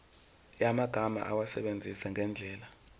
yamagama awasebenzise ngendlela